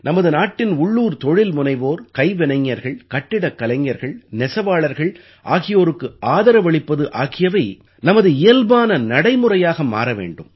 நமது நாட்டின் உள்ளூர் தொழில்முனைவோர் கைவினைஞர்கள் கட்டிடக் கலைஞர்கள் நெசவாளர்கள் ஆகியோருக்கு ஆதரவளிப்பது ஆகியவை நமது இயல்பான நடைமுறையாக மாற வேண்டும்